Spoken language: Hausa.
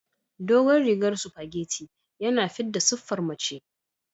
Dogon rigar supageti yana fidda siffar mace.